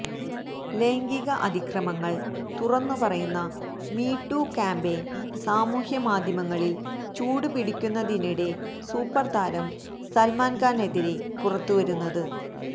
ലൈഗിംക അതിക്രമങ്ങള് തുറന്നു പറയുന്ന മീ ടു ക്യാമ്പയിന് സാമൂഹ്യമാധ്യമങ്ങളില് ചൂടുപിടിക്കുന്നതിനിടെ സൂപ്പര് താരം സല്മാന് ഖാനെതിരെ പുറത്തു വരുന്നത്